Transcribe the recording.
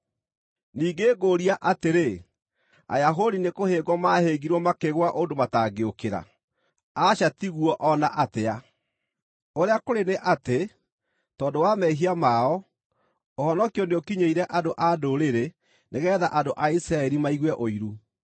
Ningĩ ngũũria atĩrĩ: Ayahudi nĩkũhĩngwo maahĩngirwo makĩgũa ũndũ matangĩũkĩra? Kũroaga gũtuĩka ũguo! Aca ti guo o na atĩa! Ũrĩa kũrĩ nĩ atĩ, tondũ wa mehia mao, ũhonokio nĩũkinyĩire andũ-a-Ndũrĩrĩ nĩgeetha andũ a Isiraeli maigue ũiru.